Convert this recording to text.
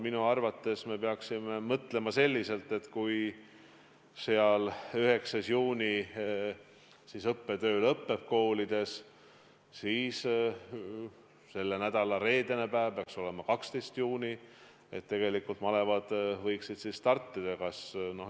Minu arvates me peaksime mõtlema selliselt, et kui 9. juunil õppetöö koolides lõppeb, siis selle nädala reedene päev – see peaks olema 12. juuni – tegelikult malevad võiksid startida.